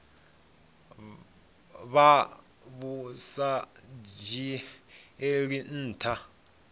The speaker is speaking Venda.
vha vhu sa dzhielwi nha